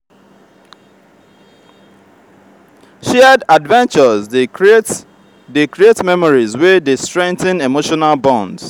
shared adventures dey create dey create memories wey dey strengthen emotional bonds.